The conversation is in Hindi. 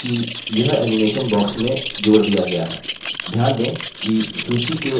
ध्यान दें कि यह animation box में जोड़ दिया गया है